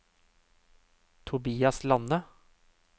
Tobias Lande